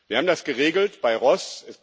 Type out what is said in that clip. Wir haben das geregelt bei RoHS.